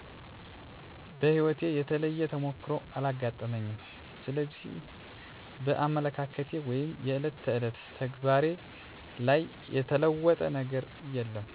በህይወቴ የተለየ ተሞክሮ አላጋጠመኝም ስለዚህ በአመለካከቴ ወይም የዕለት ተዕለት ተግባሬ ላይ የተለወጠ ነገር የለም።